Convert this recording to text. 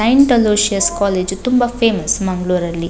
Saint Aloysius college ತುಂಬಾ famous ಮಂಗ್ಳೂರಲ್ಲಿ.